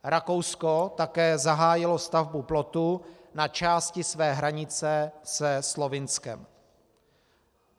Rakousko také zahájilo stavbu plotu na části své hranice se Slovinskem.